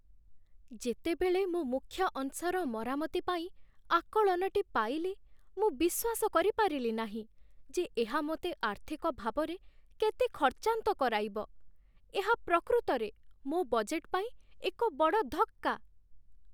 ଯେତେବେଳେ ମୁଁ ମୁଖ୍ୟ ଅଂଶର ମରାମତି ପାଇଁ ଆକଳନଟି ପାଇଲି, ମୁଁ ବିଶ୍ୱାସ କରିପାରିଲି ନାହିଁ ଯେ ଏହା ମୋତେ ଆର୍ଥିକ ଭାବରେ କେତେ ଖର୍ଚ୍ଚାନ୍ତ କରାଇବ। ଏହା ପ୍ରକୃତରେ ମୋ ବଜେଟ୍ ପାଇଁ ଏକ ବଡ଼ ଧକ୍କା।